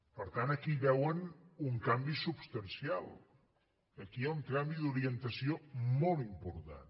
per tant aquí hi veuen un canvi substancial aquí hi ha un canvi d’orientació molt important